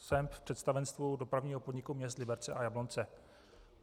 Jsem v představenstvu Dopravního podniku měst Liberce a Jablonce.